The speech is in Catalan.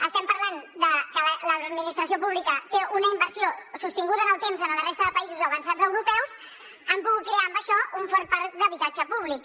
estem parlant de que l’administració pública té una inversió sostinguda en el temps a la resta de països avançats europeus i han pogut crear amb això un fort parc d’habitatge públic